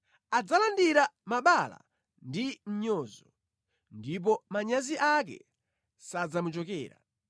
Adzalandira mabala ndi mʼnyozo, ndipo manyazi ake sadzamuchokera.